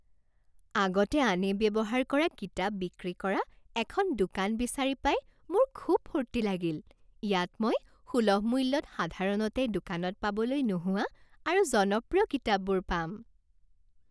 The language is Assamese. আগতে আনে ব্যৱহাৰ কৰা কিতাপ বিক্ৰী কৰা এখন দোকান বিচাৰি পাই মোৰ খুব ফূৰ্তি লাগিল। ইয়াত মই সুলভ মূল্যত সাধাৰণতে দোকানত পাবলৈ নোহোৱা আৰু জনপ্ৰিয় কিতাপবোৰ পাম।